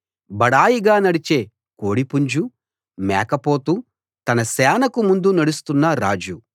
బడాయిగా నడిచే కోడి పుంజు మేకపోతు తన సేనకు ముందు నడుస్తున్న రాజు